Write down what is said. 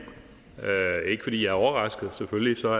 er ikke fordi jeg er overrasket selvfølgelig får